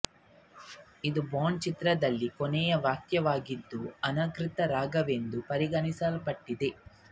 ಇದು ಬಾಂಡ್ ಚಿತ್ರದಲ್ಲಿಯ ಕೊನೆಯ ವಾಕ್ಯವಾಗಿದ್ದು ಅನಧಿಕೃತ ರಾಗವೆಂದು ಪರಿಗಣಿಸಲ್ಪಟ್ಟಿದೆ